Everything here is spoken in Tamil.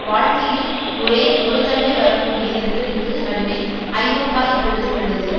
வாழ்க்கையில் ஒரே ஒரு தடவை வரக்கூடிய நெருக்கடிக்கு நடுவில் ஐரோப்பா இப்பொழுது உள்ளது